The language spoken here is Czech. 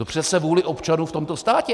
No přece vůli občanů v tomto státě.